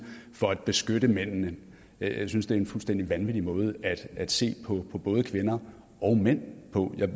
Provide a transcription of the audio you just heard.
for at beskytte mændene jeg synes det er en fuldstændig vanvittig måde at se på både kvinder og mænd på